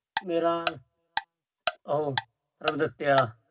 ਮੇਰਾ ਉਹ